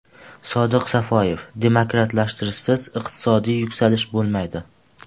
Sodiq Safoyev: demokratlashtirishsiz iqtisodiy yuksalish bo‘lmaydi.